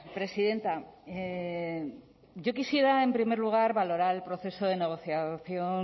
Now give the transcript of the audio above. presidenta yo quisiera en primer lugar valorar el proceso de negociación